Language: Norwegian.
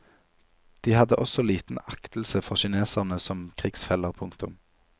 De hadde også liten aktelse for kineserne som krigsfeller. punktum